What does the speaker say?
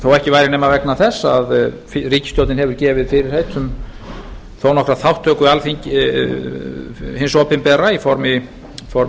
þó ekki væri nema vegna þess að ríkisstjórnin hefur gefið fyrirheit um þó nokkra þátttöku hins opinbera í formi